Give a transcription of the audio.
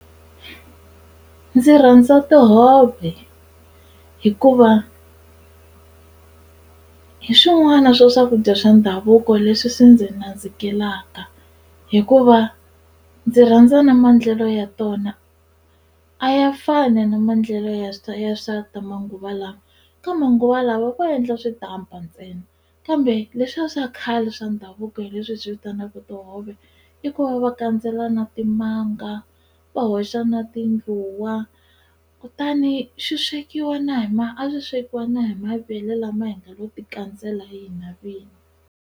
Ndzi rhandza tihove hikuva hi swin'wana swa swakudya swa ndhavuko leswi swi ndzi nandzikela hikuva ndzi rhandza na maendlelo ya tona a ya fani na maendlelo ya ya swa ta manguva lawa ka manguva lawa vo endla switampa ntsena kambe leswiya swa khale swa ndhavuko hi leswi hi swi vitanaka tihove i ku va va kandzela na timanga va hoxa na tindluwa kutani swi swekiwa na hi ma a swi swekiwa na hi mavele lama hi nga lo ti kandzela hi hina vinyi.